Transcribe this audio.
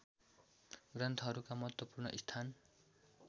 ग्रन्थहरूका महत्त्वपूर्ण स्थान